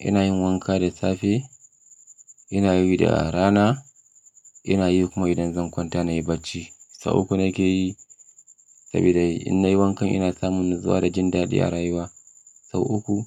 Ina yin wanka da safe, ina yi da rana, ina yi kuma idan zan kwanta nayi bacci. Sau uku nake yi saboda in nayi wankan ina samun natsuwa da jin daɗi a rayuwa. Sau uku